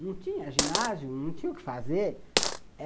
Não tinha ginásio, não tinha o que fazer.